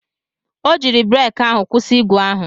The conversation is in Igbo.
O jiiri breki ahụ kwụsị ígwè ahụ.